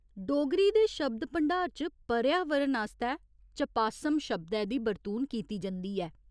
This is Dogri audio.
डोगरी दे शब्द भंडार च 'पर्यावरण' आस्तै 'चपासम' शब्दै दी बरतून कीती जंदी ऐ।